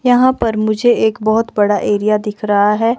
यहाँ पर मुझे एक बहुत बड़ा एरिया दिख रहा है।